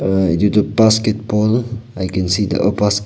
uhh itu tu basketball .